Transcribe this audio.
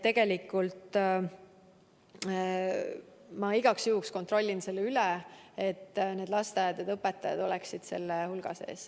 Aga ma igaks juhuks kontrollin üle, kas lasteaiaõpetajad on ikka selle hulga sees.